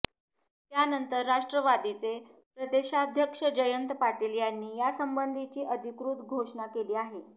त्यानंतर राष्ट्रवादीचे प्रदेशाध्यक्ष जयंत पाटील यांनी यासंसबंधीची अधिकृत घोषणा केली आहे